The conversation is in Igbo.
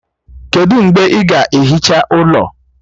Kedụ mgbe ị ga-ehicha ụlọ?